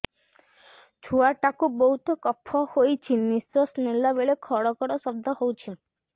ଛୁଆ ଟା କୁ ବହୁତ କଫ ହୋଇଛି ନିଶ୍ୱାସ ନେଲା ବେଳେ ଘଡ ଘଡ ଶବ୍ଦ ହଉଛି